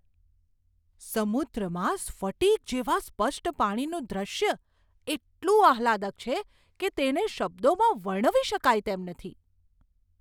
સમુદ્રમાં સ્ફટિક જેવા સ્પષ્ટ પાણીનું દૃશ્ય એટલું આહ્લાદક છે કે તેેને શબ્દોમાં વર્ણવી શકાય તેમ નથી!